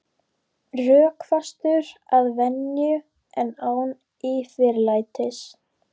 Rökfastur að venju en án yfirlætis.